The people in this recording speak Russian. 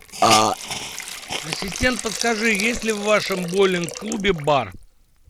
ассистент подскажи есть ли в вашем боулинг клубе бар